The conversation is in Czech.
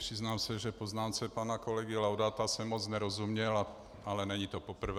Přiznám se, že poznámce pana kolegy Laudáta jsem moc nerozuměl, ale není to poprvé.